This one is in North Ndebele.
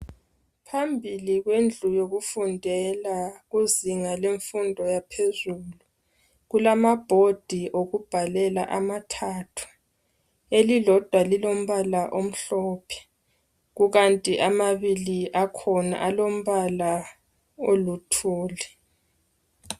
Phambili kwendlu yokufundela kuzinga lemfundo yaphezulu kulamabhodi wokubhalela amathathu elilodwa lilombala omhlophe kukanti amabili akhona alombala oluthuli.